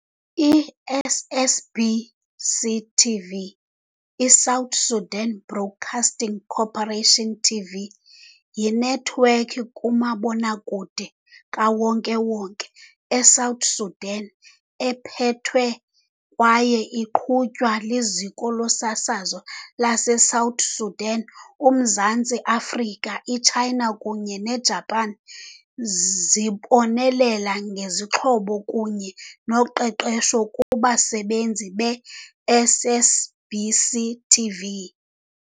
I-SSBC TV, i-South Sudan Broadcasting Corporation TV, yinethiwekhi kamabonakude kawonke-wonke eSouth Sudan ephethwe kwaye iqhutywa liZiko loSasazo laseSouth Sudan. UMzantsi Afrika, iChina kunye neJapan zibonelele ngezixhobo kunye noqeqesho kubasebenzi be-SSBC TV.